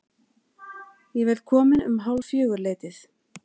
Ég verð kominn um hálffjögur-leytið.